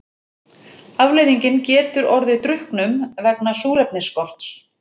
Afleiðingin getur orðið drukknum vegna súrefnisskorts.